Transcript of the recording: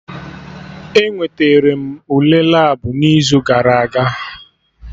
Enweterem m Ule Labụ m n'izu gara aga